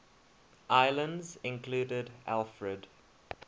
islands included alfred